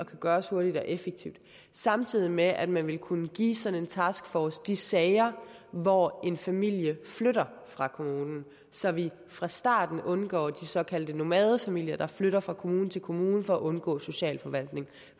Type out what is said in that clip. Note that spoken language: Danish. kunne gøres hurtigt og effektivt samtidig med at man ville kunne give sådan en taskforce de sager hvor en familie flytter fra kommunen så vi fra starten undgår de såkaldte nomadefamilier der flytter fra kommune til kommune for at undgå socialforvaltningen